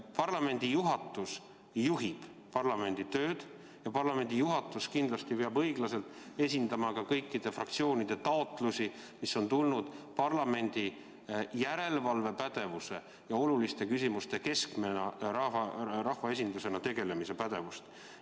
Parlamendi juhatus juhib parlamendi tööd ja parlamendi juhatus kindlasti peab õiglaselt esindama kõikide fraktsioonide taotlusi, mis on tulnud parlamendi kui rahvaesinduse järelevalvepädevusest ja oluliste küsimustega tegelemise pädevusest.